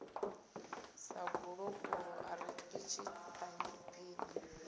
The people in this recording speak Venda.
sa gulokulo arikisi phaiphi ya